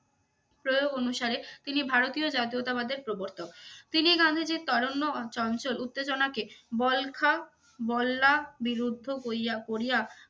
প্রয়োগ অনুসারে তিনি ভারতীয় জাতীয়তাবাদের প্রবর্তক। তিনি গান্ধীজির তারুণ্য চঞ্চল উত্তেজনাকে বলখা, বল্লা বিরুদ্ধ কইয়া~ করিয়া